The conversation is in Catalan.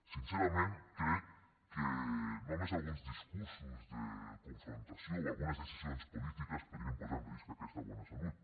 sincerament crec que només alguns discursos de confrontació o algunes decisions polítiques podrien posar en risc aquesta bona salut